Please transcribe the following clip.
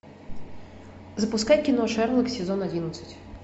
запускай кино шерлок сезон одиннадцать